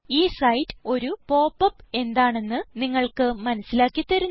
ഈ സൈറ്റ് ഒരു pop up എന്താണെന്ന് നിങ്ങൾക്ക് മനസിലാക്കി തരുന്നു